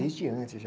Desde antes, já.